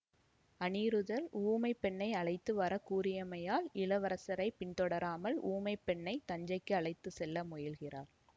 அநிருத்தர் ஊமைப் பெண்ணை அழைத்து வர கூறியமையால் இளவரசரை பின்தொடராமல் ஊமைப் பெண்ணை தஞ்சைக்கு அழைத்து செல்ல முயல்கிறார்